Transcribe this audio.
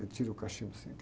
Eu tiro o cachimbo assim.